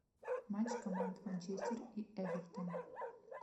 матч команд манчестер и эвертон